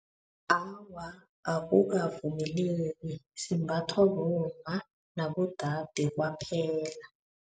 Awa, akukavumeleki simbathwa bomma nabodade kwaphela.